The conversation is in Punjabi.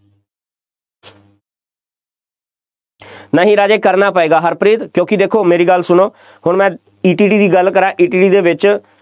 ਨਹੀਂ ਰਾਜੇ ਕਰਨਾ ਪਏਗਾ, ਹਰਪ੍ਰੀਤ ਕਿਉਕਿ ਦੇਖੋ ਮੇਰੀ ਗੱਲ ਸੁਣੋ, ਹੁਣ ਮੈਂ ETT ਦੀ ਗੱਲ ਕਰਾਂ, ETT ਦੇ ਵਿੱਚ